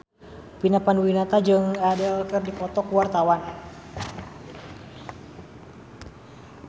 Vina Panduwinata jeung Adele keur dipoto ku wartawan